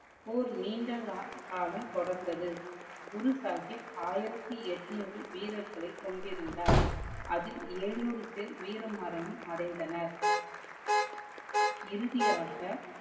போர் நிண்ட காலம் தொடர்ந்தது. குரு சாஹிப் ஆயிரத்தி எட்னூர் வீரர்களை கொண்டு இருந்தார். அதில் எழுநூறு பேர் வீர மரணம் அடைந்தனர். இறுதியாக